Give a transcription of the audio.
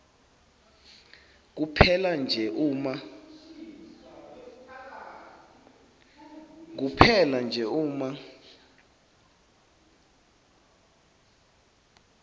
kuphela nje uma